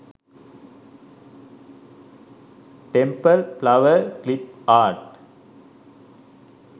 temple flower clip art